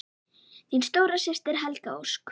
Þín stóra systir, Helga Ósk.